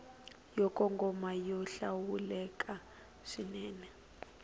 yo kongoma yo hlawuleka swinene